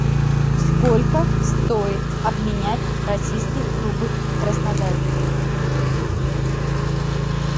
сколько стоит обменять российский рубль в краснодаре